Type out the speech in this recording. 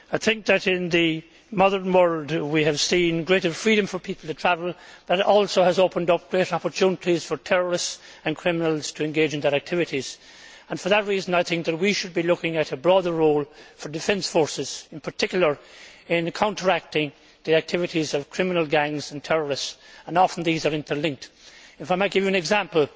I think that in the modern world we have seen greater freedom for people to travel and that also has opened up greater opportunities for terrorists and criminals to engage in their activities. For that reason I think we should be looking at a broader role for defence forces in particular in counteracting the activities of criminal gangs and terrorists and often these are interlinked. If I might give an example